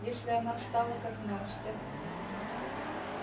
если она стала как настя